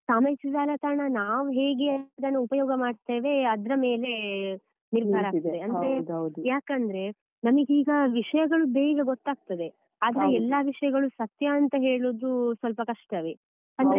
ಸಾಮಾಜಿಕ ಜಾಲತಾಣ ನಾವು ಹೇಗೆ ಅದನ್ನು ಉಪಯೋಗ ಮಾಡ್ತೇವೆ ಅದ್ರ ಮೇಲೆ ನಿರ್ಧಾರ ಆಗ್ತದೆ ಯಾಕಂದ್ರೆ ನಮಗೀಗ ವಿಷಯಗಳು ಬೇಗ ಗೊತ್ತಾಗ್ತದೆ ಆದ್ರೆ ಎಲ್ಲ ವಿಷಯಗಳು ಸತ್ಯ ಅಂತ ಹೇಳುದು ಸ್ವಲ್ಪ ಕಷ್ಟವೇ ಅಂದ್ರೆ.